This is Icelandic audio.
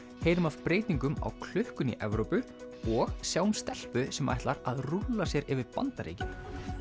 heyrum af breytingum á klukkunni í Evrópu og sjáum stelpu sem ætlar rúlla sér yfir Bandaríkin